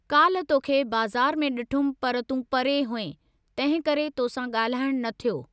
काल्ह तोखे बज़ारि में डिठुमि पर तूं परे हुएं, तंहिं करे तोसां गा॒ल्हाइणु न थियो।